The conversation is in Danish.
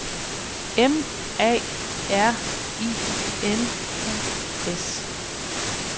M A R I N U S